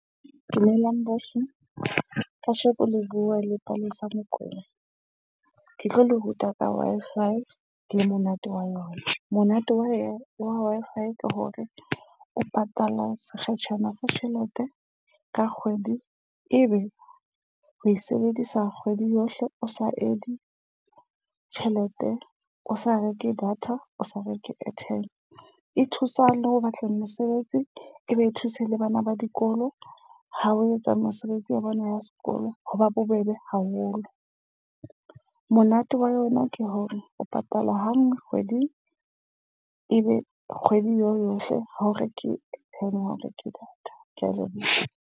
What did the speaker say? Dumelang bohle. Kasheko le bua le Palesa Mokwena. Ke tlo le ruta ka Wi-Fi le monate wa lona. Monate wa Wi-Fi ke hore o patala sekgetjhana sa tjhelete ka kgwedi e be o e sebedisa kgwedi yohle o sa add tjhelete, o sa reke data, o sa reke airtime. E thusa le ho batla mesebetsi, e be e thuse le bana ba dikolo. Ha o etsa mosebetsi ya bona ya sekolo, ho ba bobebe haholo. Monate wa yona ke hore o patala hanngwe kgweding. E be kgwedi eo yohle ha o reke data ha o reke data. Ke a leboha.